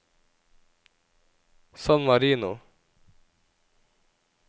San Marino